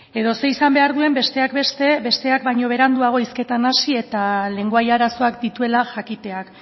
edo zer izan behar duen besteak beste besteak baino beranduago hizketan hasi eta lengoai arazoak dituela jakiteak